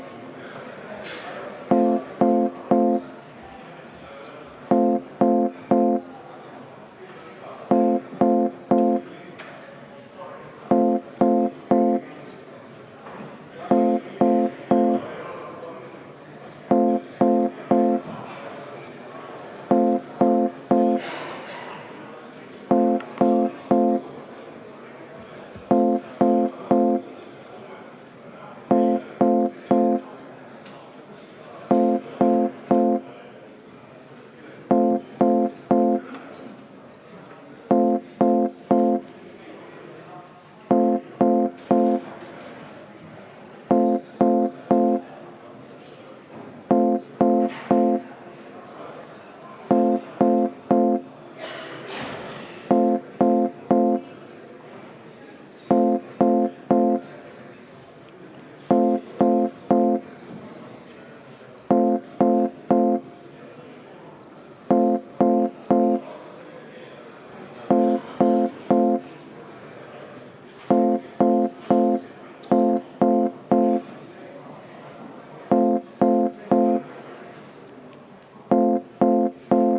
Palun!